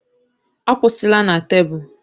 Akwụsịla na tebụl!